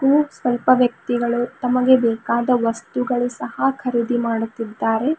ಹೂ ಸ್ವಲ್ಪ ವ್ಯಕ್ತಿಗಳು ತಮಗೆ ಬೇಕಾದ ವಸ್ತುಗಳು ಸಹ ಖರೀದಿ ಮಾಡುತ್ತಿದ್ದಾರೆ.